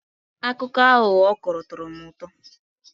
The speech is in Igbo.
Akụkọ aghụghọ ọ kọrọ tọrọ m ụtọ.